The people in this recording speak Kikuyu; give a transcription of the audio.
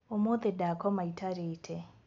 ũmũthĩ ndakoma itarĩte